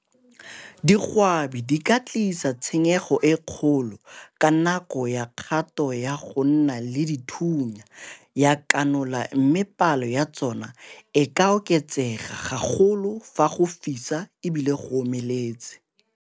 Digwaba di ka tlisa tshenyego e kgolo ka nako ya kgato ya go nna le dithunya ya kanola mme palo ya tsona e ka oketsega gagolo fa go fisa e bile go omeletse.